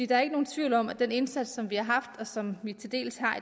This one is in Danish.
der er ikke nogen tvivl om at den indsats som vi har haft og som vi til dels har